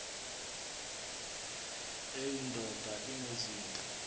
eyi ndoda enezinto